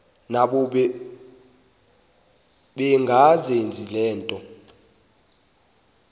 nabo bengazenzi lutho